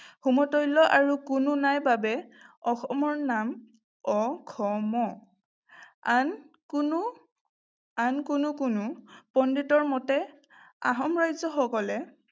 সমতুল্য আৰু কোনো নাই বাবে অসমৰ নাম অ-স-ম আন কোনো, আন কোনো কোনো পণ্ডিতৰ মতে আহোম ৰাজ্যসকলে